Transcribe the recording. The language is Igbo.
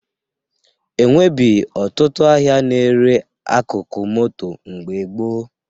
E nwebghị ọtụtụ ahịa na-ere akụkụ moto mgbe gboo